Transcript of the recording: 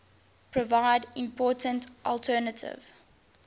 provide important alternative